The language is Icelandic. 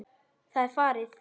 Það er farið!